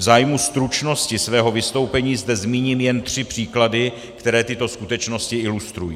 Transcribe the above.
V zájmu stručnosti svého vystoupení zde zmíním jen tři příklady, které tyto skutečnosti ilustrují.